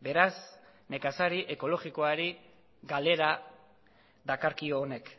beraz nekazari ekologikoari galera dakarkio honek